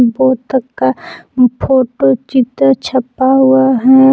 बत्तख का फोटो चित्र छपा हुआ है।